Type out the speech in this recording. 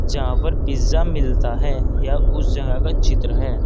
यहां पर पिज़्ज़ा मिलता है यह उस जगह का चित्र है।